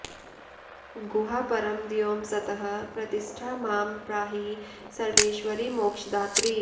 गुहा परं व्योम सतः प्रतिष्ठा मां पाहि सर्वेश्वरि मोक्षदात्रि